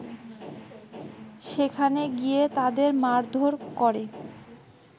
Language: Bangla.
সেখানে গিয়ে তাদের মারধোর করে